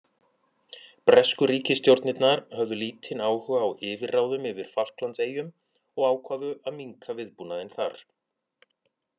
Bresku ríkisstjórnirnar höfðu lítinn áhuga á yfirráðum yfir Falklandseyjum og ákváðu að minnka viðbúnaðinn þar.